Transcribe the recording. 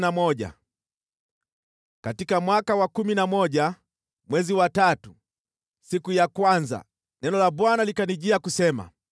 Katika mwaka wa kumi na moja, mwezi wa tatu, siku ya kwanza, neno la Bwana likanijia, kusema: